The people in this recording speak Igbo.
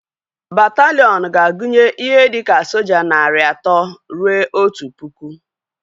Bataliiọn ga-agunye ihe dika soja narị atọ rue otu pụkụ